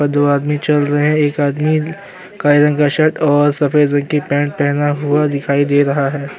दो आदमी चल रहें हैं एक आदमी काले रंग का शर्ट और सफेद रंग की पेंट पहना हुआ दिखाई दे रहा है।